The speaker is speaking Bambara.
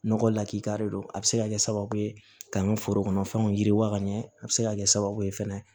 Nɔgɔ lakika de don a bɛ se ka kɛ sababu ye ka n ka foro kɔnɔnfɛnw yiriwa ka ɲɛ a bɛ se ka kɛ sababu ye fɛnɛ